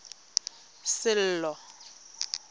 sello